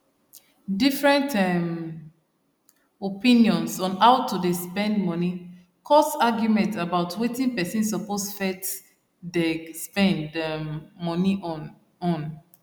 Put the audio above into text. different um opinions on how to dey spend money cause argument about wetin person suppose first deg spend um money on on